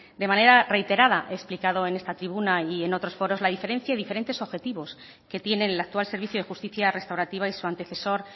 de manera reiterada he explicado en esta tribuna y en otros foros la diferencia y diferentes objetivos que tienen el actual servicio de justicia restaurativa y su antecesor